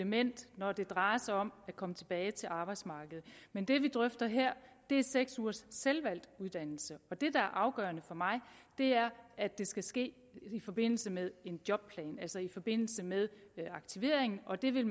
element når det drejer sig om at komme tilbage til arbejdsmarkedet men det vi drøfter her er seks ugers selvvalgt uddannelse og det der er afgørende for mig er at det skal ske i forbindelse med en jobplan altså i forbindelse med aktivering og det vil